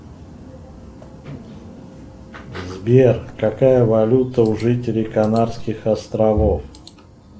сбер какая валюта у жителей канадских островов